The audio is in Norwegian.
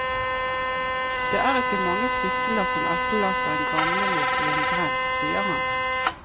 Det er ikke mange flyttelass som etterlater en gamlemor i en grend, sier han.